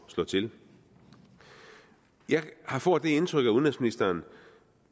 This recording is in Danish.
slå til jeg får det indtryk at udenrigsministeren